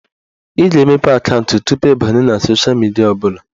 Ị ga-emepe akaụntụ tupu ị banye na sosha midia ọbụla